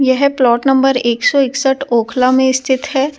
यह plot number एक सौ इकसठ ओखला में स्थित है ।